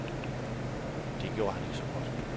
Det gjorde han ikke så godt.